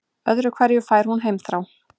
Öðru hverju fær hún heimþrá.